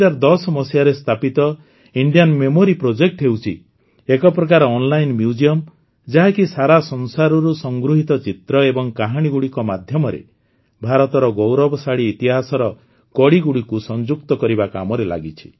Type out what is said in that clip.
୨୦୧୦ ମସିହାରେ ସ୍ଥାପିତ Indian memory project ହେଉଛି ଏକ ପ୍ରକାର ଅନଲାଇନ ମ୍ୟୁଜିଅମ ଯାହାକି ସାରା ସଂସାରରୁ ସଂଗୃହୀତ ଚିତ୍ର ଏବଂ କାହାଣୀଗୁଡ଼ିକ ମାଧ୍ୟମରେ ଭାରତର ଗୌରବଶାଳୀ ଇତିହାସର କଡ଼ି ଗୁଡ଼ିକୁ ସଂଯୁକ୍ତ କରିବା କାମରେ ଲାଗିଛି